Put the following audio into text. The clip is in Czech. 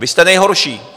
Vy jste nejhorší.